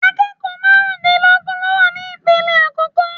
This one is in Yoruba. Akẹ́kọ̀ọ́ marun dínlógún ló wà ní ipele àkọ́kọ́.